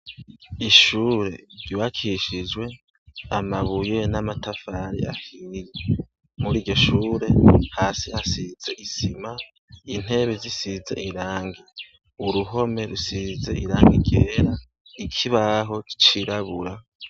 Ishure ryubakishijwe amabiye n'amatafari afumiye mur'iryoshuri hasi harasiza isima, intebe zisize irangi, uruhome rusize irangi ryera, ikibaho cirabura.